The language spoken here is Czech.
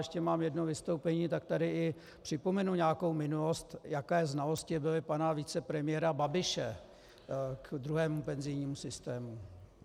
Ještě mám jedno vystoupení, tak tady i připomenu nějakou minulost, jaké znalosti byly pana vicepremiéra Babiše k druhému penzijnímu systému.